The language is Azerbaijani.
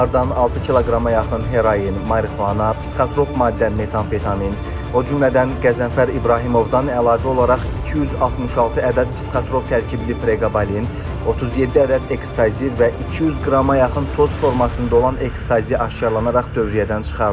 Onlardan 6 kq-a yaxın heroin, marixuana, psixotrop maddə metamfetamin, o cümlədən Qəzənfər İbrahimovdan əlavə olaraq 266 ədəd psixotrop tərkibli preqabalin, 37 ədəd ekstazi və 200 qrama yaxın toz formasında olan ekstazi aşkar edilərək dövriyyədən çıxarılıb.